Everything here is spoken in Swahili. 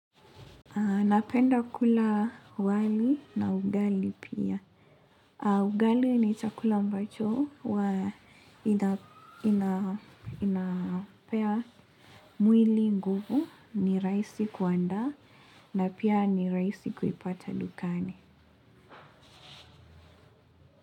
Napenda kula wali na ugali pia. Ugali ni chakula ambacho huwa inapea mwili nguvu ni rahisi kuanda na pia ni rahisi kuipata dukani.